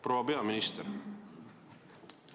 Proua peaminister!